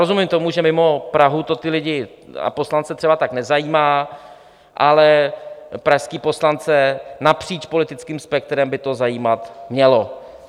Rozumím tomu, že mimo Prahu to ty lidi a poslance třeba tak nezajímá, ale pražské poslance napříč politickým spektrem by to zajímat mělo.